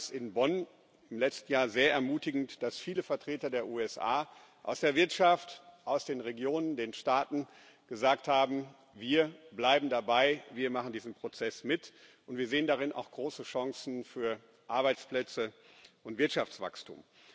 Ich fand es in Bonn im letzten Jahr sehr ermutigend, dass viele Vertreter der USA aus der Wirtschaft, aus den Regionen, den Staaten gesagt haben Wir bleiben dabei, wir machen diesen Prozess mit, und wir sehen darin auch große Chancen für Arbeitsplätze und Wirtschaftswachstum.